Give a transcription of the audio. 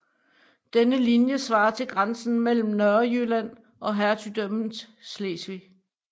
Denne linje svarede til grænsen mellem Nørrejylland og hertugdømmet Slesvig